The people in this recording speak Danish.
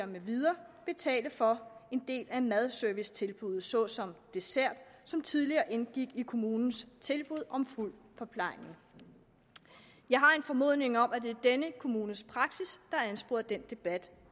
med videre betale for en del af madservicetilbuddet såsom dessert som tidligere indgik i kommunens tilbud om fuld forplejning jeg har en formodning om at det er denne kommunes praksis har ansporet den debat